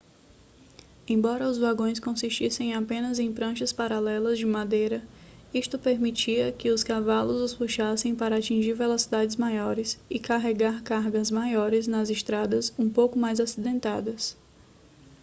embora os vagões consistissem apenas em pranchas paralelas de madeira isto permitia que os cavalos os puxassem para atingir velocidades maiores e carregar cargas maiores nas estradas um pouco mais acidentadas